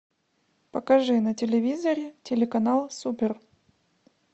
покажи на телевизоре телеканал супер